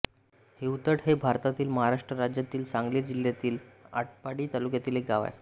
हिवतड हे भारतातील महाराष्ट्र राज्यातील सांगली जिल्ह्यातील आटपाडी तालुक्यातील एक गाव आहे